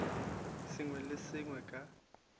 sengwe le se sengwe ka